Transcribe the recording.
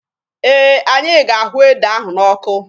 Eh, anyị ga-ahụ ede ahụ n'ọkụ.